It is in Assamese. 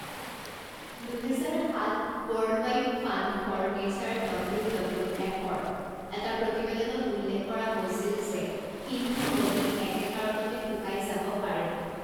দুহেজাৰ সাত বৰ্ল্ডৱাইড fund for nature W W এফৰ এটা প্ৰতিবেদনত উল্লেখ কৰা হৈছিল যে সিন্ধু নদী একে কাৰণতে শুকাই যাব পাৰে।